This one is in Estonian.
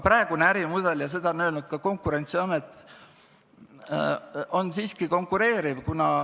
Praegune ärimudel – ja seda on öelnud ka Konkurentsiamet – on siiski konkureeriv.